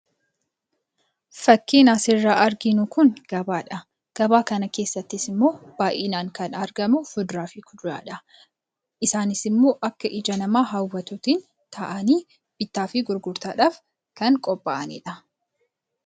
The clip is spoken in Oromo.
Fakkiin asirraa arginu Kun, gabaadha . Gabaa kana keessattis immoo akkasumas Kan argamu fuduraa fi Kuduraadha. Isaanis immoo bakka ija namaa hawwatuun taa'anii bittaa fi gurgurtaaf kan qophaa'edha.